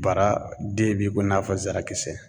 Baraden be ko n'a fɔ zarakisɛ